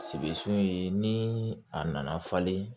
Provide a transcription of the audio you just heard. Sigi sun ye ni a nana falen